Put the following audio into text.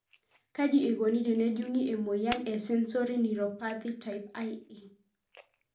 Kaji eikoni tenejungi emoyian e sensory neuropathy type IE?